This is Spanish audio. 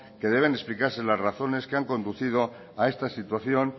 que deben de explicarse las razones que han conducido a esta situación